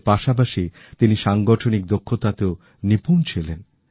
এর পাশাপাশি তিনি সাংগঠনিক দক্ষতাতেও নিপুণ ছিলেন